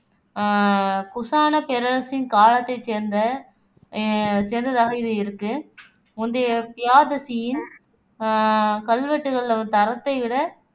அஹ் குசானப் பேரரசின் காலத்தைச் சேர்ந்த சேர்ந்ததாக இது இருக்கு முந்தைய பியாதசியின் அஹ் கல்வெட்டுகள்ல தரத்தை விட